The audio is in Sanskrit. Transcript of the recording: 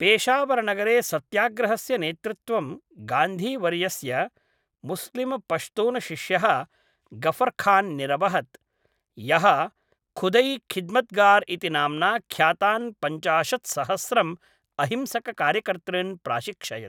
पेशावरनगरे सत्याग्रहस्य नेतृत्वं गान्धीवर्यस्य मुस्लिमपश्तूनशिष्यः गफ्फरखान् निरवहत्, यः खुदै खिद्मतगार् इति नाम्ना ख्यातान् पञ्चाशत्सहस्रम् अहिंसककार्यकर्तॄन् प्राशिक्षयत्।